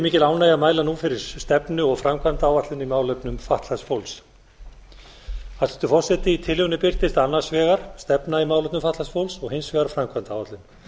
mikil ánægja að mæla nú fyrir stefnu og framkvæmdaáætlun í málefnum fatlaðs fólks hæstvirtur forseti í tillögunni birtist annars vegar stefna í málefnum fatlaðs fólks og hins vegar framkvæmdaáætlun